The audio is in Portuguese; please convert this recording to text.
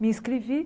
Me inscrevi.